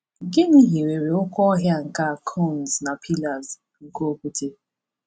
Gịnị hiwere oke ọhịa a nke cones na pillars nke okwute?